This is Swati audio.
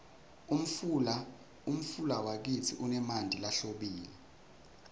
umfula wakitsi unemanti lahlobile